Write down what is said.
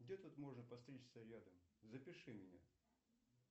где тут можно подстричься рядом запиши меня